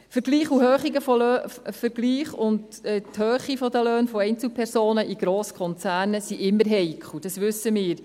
Vergleiche und die Höhe der Löhne von Einzelpersonen in Grosskonzernen sind immer heikel, dies wissen wir.